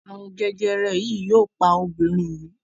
arun jẹjẹrẹ yii yóò pa Obìnrin yii.